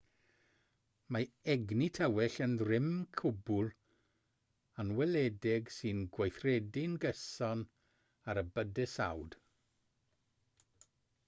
mae egni tywyll yn rym cwbl anweledig sy'n gweithredu'n gyson ar y bydysawd